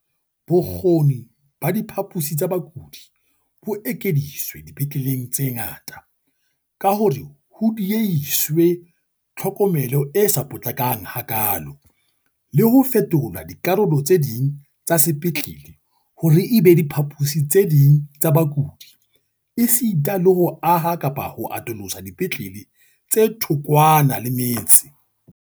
Bokgoni ba diphaposi tsa bakudi bo ekeditswe dipetleleng tse ngata ka hore ho diehiswe tlhokomelo e sa potlakang hakaalo, le ho fetola dikarolo tse ding tsa sepetlele hore e be diphaposi tse ding tsa bakudi esita le ho aha kapa ho atolosa dipetlele tse thokwana le metse.